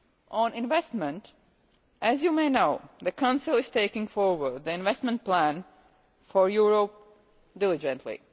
On investment, as you may know, the Council is taking forward the investment plan for Europe diligently.